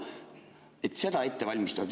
Seda ette valmistada.